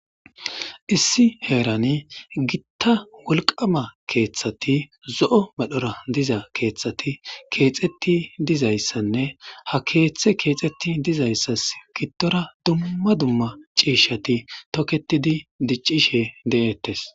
Issi heerani gitta wolqama keeththati zo7o madhora diza keeththati keexetti dizayssanne ha keeththe keexetti dizayssas giddora dumma dumma ciishati toketidi diccishe de7ettes.